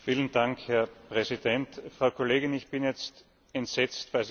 Frau Kollegin, ich bin jetzt entsetzt, falls ich Sie richtig verstanden habe.